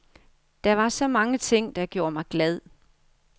Der var så mange ting, der gjorde mig glad.